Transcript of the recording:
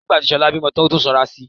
Nígbà tí Ṣọlá bímọ tán ó tún sanra si